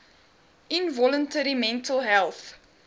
involuntary mental health